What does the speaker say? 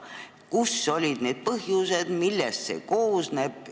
Kus olid need põhjused ja millest see puudujääk koosneb?